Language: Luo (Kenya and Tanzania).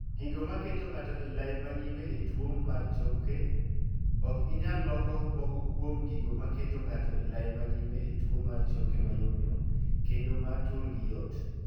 Gigo maketo ng'ato e lai ma nyime e tuo mar choke. Ok inyal loko moko kuom gigo ma keto ng'ato e lai ma nyime e tuo mar choke mayomyom kendo ma turgi yot.